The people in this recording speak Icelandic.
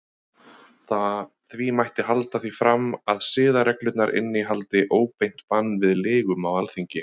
Því mætti halda því fram að siðareglurnar innihaldi óbeint bann við lygum á Alþingi.